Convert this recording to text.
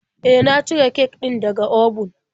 E, na cire kek din da ga obun.